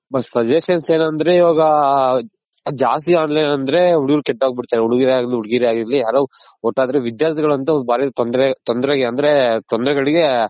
but suggestion ಏನಂದ್ರೆ ಇವಾಗ ಜಾಸ್ತಿ online ಅಂದ್ರೆ ಹುಡುಗರ್ ಕೆಟ್ಟೋಗ್ ಬಿಡ್ತಾರೆ ಹುಡುಗರ್ ಆಗಿರ್ಲಿ ಹುಡಿಗಿರೆ ಆಗಿರ್ಲಿ ಯಾರೋ ಅಂದ್ರೆ ವಿದ್ಯಾರ್ಥಿಗಳ್ ಒಂತು ಬಾರಿ ತೊಂದ್ರೆಗೆ ಅಂದ್ರೆ ತೊಂದ್ರೆಗಳಿಗ್